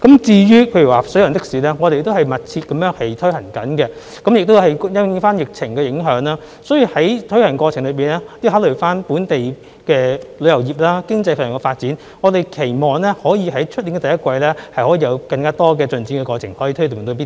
至於水上的士方面，我們也在積極推行，但由於疫情的影響，而在推行的過程中亦要考慮本地的旅遊業和經濟發展，我們期望可於明年第一季推動更多的進展。